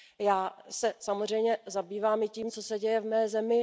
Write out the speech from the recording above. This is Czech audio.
Já se samozřejmě zabývám i tím, co se děje v mé zemi.